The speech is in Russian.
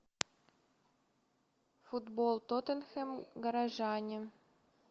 футбол тоттенхэм горожане